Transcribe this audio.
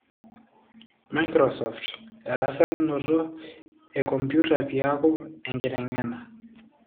Microsoft:Erasakinoto ekomputa piaku enkitengena.